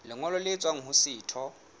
lengolo le tswang ho setho